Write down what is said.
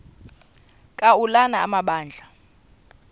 ka ulana amabandla